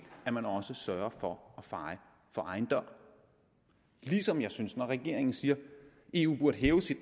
at man sørger for at feje for egen dør ligesom jeg synes når regeringen siger at eu burde hæve sit